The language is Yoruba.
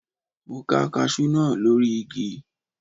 Mo ká kaṣú náà lórí igi.